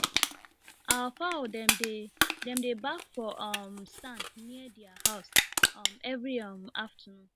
our fowl dem dey dem dey baff for um sand near their house um every um afternoon